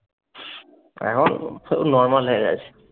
এখন তো নয় মাস হয়ে গেছে।